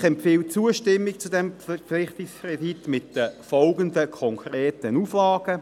Die BiK empfiehlt Zustimmung zum Verpflichtungskredit mit den folgenden konkreten Auflagen: